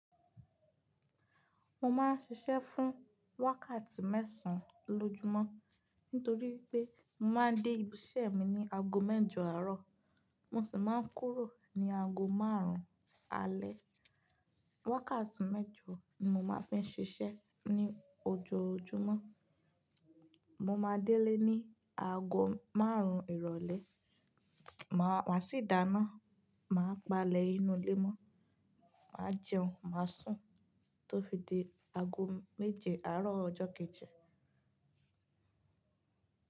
Mo ma n ṣiṣẹ́ fún wákàtí mẹ́sàn-án lójúmọ́, nítorí pé mo ma dé ibi iṣẹ́ mi ní ago mẹ́jọ àárọ̀, mo sì ma n kúrò ní ago márùn-ún alẹ́. Wákàtí mẹ́jọ ni mo ma fi ń ṣiṣẹ́ ní ojoojúmọ́. Mo ma délé ní ago márùn-ún ìrọ̀lẹ́, ma sì dáná, màá palẹ̀ inú ilé mọ́, màá jẹun, màá sùn tó fi dé ago méje àárọ̀ ọjọ́ keji.